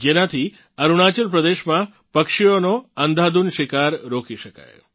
જેનાથી અરુણાચલ પ્રદેશમાં પક્ષીઓનો અંધાધૂંધ શિકાર રોકી શકાય